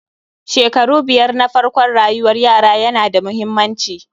shekaru biyar na farkon rayuwar yara yana da muhimmanci